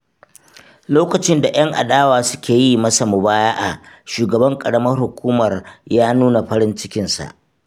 Lokacin da 'yan adawa suke yi masa mubaya'a, shugaban ƙaramar hukumar ya nuna farin cikinsa.